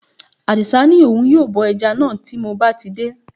Àdì̀sá ní òun yóò bọ ẹja náà tí mo bá ti dé